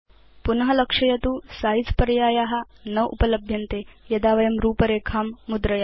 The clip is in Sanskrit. पुन लक्षयतु सिझे पर्याया न उपलभ्यन्ते यदा वयं रूपरेखां मुद्रयाम